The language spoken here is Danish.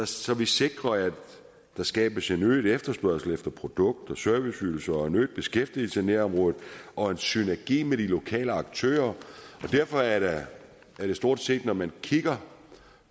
så vi sikrer at der skabes en øget efterspørgsel efter produkter og serviceydelser og en øget beskæftigelse i nærområdet og en synergi med de lokale aktører derfor er det stort set når man kigger